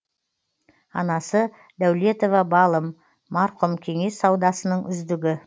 анасы дәулетова балым марқұм кеңес саудасының үздігі